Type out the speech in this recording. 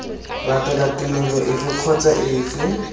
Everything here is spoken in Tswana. latela tumelo efe kgotsa efe